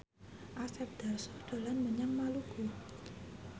Asep Darso dolan menyang Maluku